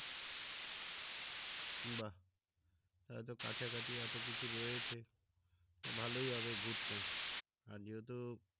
বাহ এতো কাছাকাছি এতো কিছু রয়েছে ভালোই হবে ঘুরতে আর যেহেতু